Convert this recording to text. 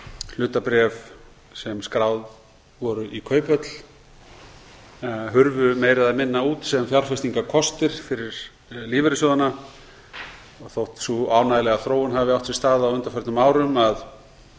hlutabréf sem skráð voru í kauphöll hurfu meira eða minna út sem fjárfestingarkostir fyrir lífeyrissjóðina og þótt sú ánægjulega þróun hafi átt sér stað á undanförnum árum að